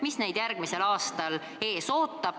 Mis neid järgmisel aastal ees ootab?